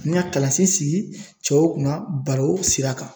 N ka kalansen sigi cɛw kunna baro sira kan .